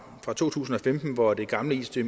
to tusind og femten hvor det gamle it